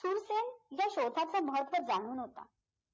सुरसेन त्या श्रोताचा महत्व जाणून होता